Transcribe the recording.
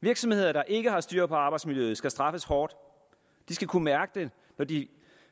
virksomheder der ikke har styr på arbejdsmiljøet skal straffes hårdt de skal kunne mærke det når de